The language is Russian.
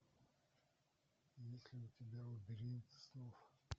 есть ли у тебя лабиринт снов